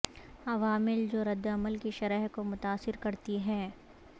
عوامل جو ردعمل کی شرح کو متاثر کرتی ہیں